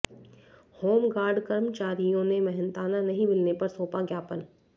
home guard कर्मचारियों ने मेहनताना नहीं मिलने पर सौंपा ज्ञापन